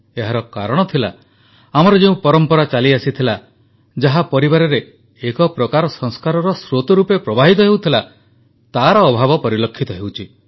ଏହାର କାରଣ ଥିଲା ଆମର ଯେଉଁ ପରମ୍ପରା ଚାଲିଆସିଥିଲା ଯାହା ପରିବାରରେ ଏକ ପ୍ରକାର ସଂସ୍କାରର ସ୍ରୋତ ରୂପେ ପ୍ରବାହିତ ହେଉଥିଲା ତାର ଅଭାବ ପରିଲକ୍ଷିତ ହେଉଛି